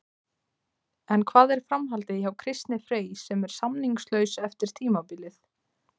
En hvað er framhaldið hjá Kristni Frey sem er samningslaus eftir tímabilið?